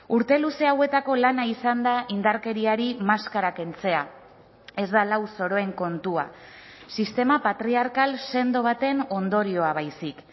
urte luze hauetako lana izan da indarkeriari maskara kentzea ez da lau zoroen kontua sistema patriarkal sendo baten ondorioa baizik